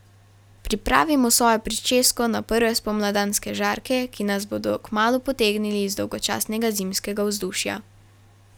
Pripravimo svojo pričesko na prve spomladanske žarke, ki nas bodo kmalu potegnili iz dolgočasnega zimskega vzdušja.